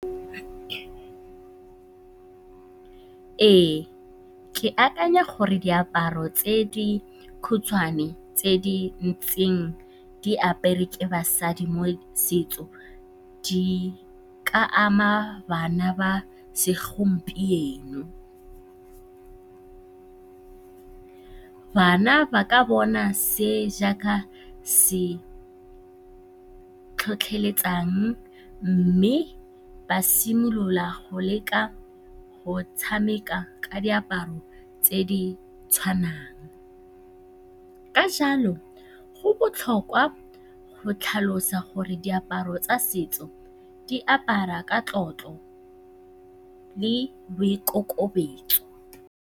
Ee, ke akanya gore diaparo tse di khutshwane tse di ntseng di aperwe ke basadi mo setsong di ka ama bana ba segompieno. Bana ba ka bona se jaaka se se tlhotlheletsang mme ba simolola go leka go tshameka ka diaparo tse di tshwanang. Ka jalo, go botlhokwa go tlhalosa gore diaparo tsa setso di aparwa ka tlotlo le boikokobetso.